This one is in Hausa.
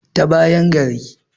ta bayan gari